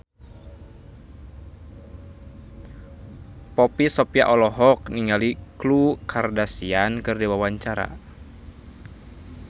Poppy Sovia olohok ningali Khloe Kardashian keur diwawancara